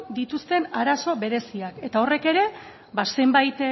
dituzten arazo bereziak eta horrek ere ba zenbait